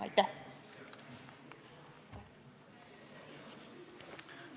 Aitäh!